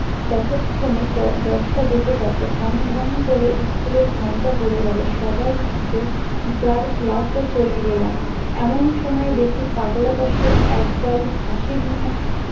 ততক্ষনে যে দশটা বেজে গেছে ঢং ঢং করে school এর ঘন্টা পরে গেল সবাই যে যার ক্লাস এ চলে গেলাম এমন সময়ে দেখি পাগলাদাসু এক গাল হাসি নিয়ে